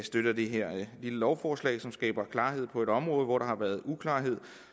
støtter det her lille lovforslag som skaber klarhed på et område hvor der har været uklarhed og